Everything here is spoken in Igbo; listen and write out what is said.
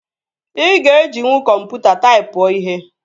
Ị ga-ejinwu kọmputa taipụọ ihe